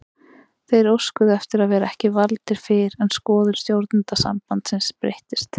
Þeir óskuðu eftir að vera ekki valdir fyrr en skoðun stjórnenda sambandsins breyttist.